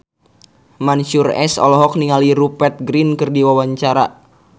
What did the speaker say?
Mansyur S olohok ningali Rupert Grin keur diwawancara